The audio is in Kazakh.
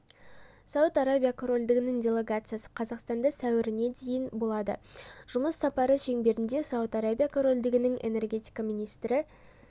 сауд арабия корольдігінің делегациясы қазақстанда сәуіріне дейін болады жұмыс сапары шеңберінде сауд арабия корольдігінің энергетика министрі